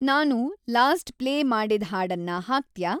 ನಾನು last play ಮಾಡಿದ್‌ ಹಾಡನ್ನ ಹಾಕ್ತ್ಯಾ